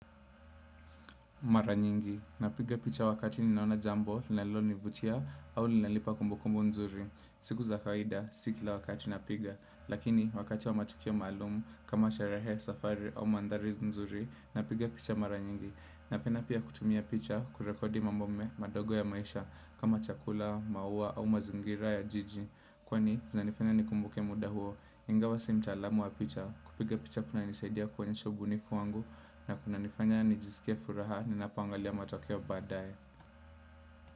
Mara nyingi, napiga picha wakati ninaona jambo, linalonivutia au linanipa kumbukumbu nzuri siku za kawaida, si kila wakati napiga, lakini wakati wa matukio maalumu kama sharehe safari au maandhari nzuri napiga picha mara nyingi, napenda pia kutumia picha kurekodi mambo me madogo ya maisha. Kama chakula, maua au mazingira ya jiji, kwani zinanifanya nikumbuke muda huo ingawa si mtaalamu wa picha kupiga picha kunanisaidia konyesha ubunifu wangu na kunanifanya nijisikie furaha ninapoangalia matokeo baadae.